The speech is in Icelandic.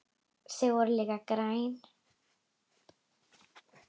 Þau voru líka græn.